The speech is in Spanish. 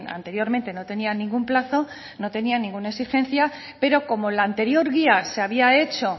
anteriormente no tenía ningún plazo no tenía ninguna exigencia pero como la anterior guía se había hecho